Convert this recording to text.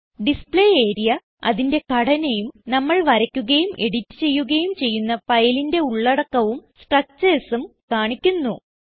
display area അതിന്റെ ഘടനയും നമ്മൾ വരയ്ക്കുകയും എഡിറ്റ് ചെയ്യുകയും ചെയ്യുന്ന ഫയലിന്റെ ഉള്ളടക്കവും structuresഉം കാണിക്കുന്നു